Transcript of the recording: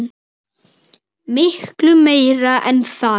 Miklu meira en það.